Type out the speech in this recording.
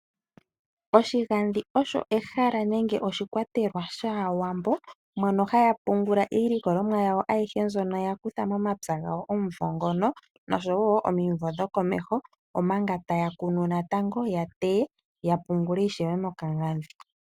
Oshigandhi osho ehala nenge oshikwatelwa shaawambo mono haya pungula iilokolomwa yawo ayihe mbyono yakutha momapya gawo omumvo ngono noshowo omimvo dhokomeho omanga taya kunu natango ya teye ya pungule natango mokagandhi.